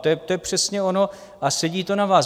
To je přesně ono a sedí to na vás.